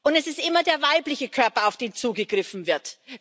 Es ist immer der weibliche Körper, auf den zugegriffen wird.